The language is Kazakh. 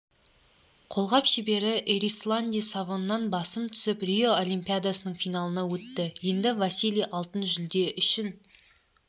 қолғап шебері эрисланди савоннан басым түсіп рио олимпиадасының финалына өтті енді василий алтын жүлде үшін